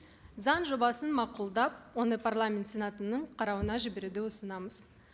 заң жобасын мақұлдап оны парламент сенатының қарауына жіберуді ұсынамыз